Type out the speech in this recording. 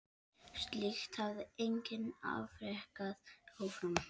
Slíkt hafði enginn afrekað áður.